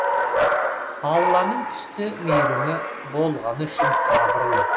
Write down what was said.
алланың түсті мейірімі болғаны үшін сабырлы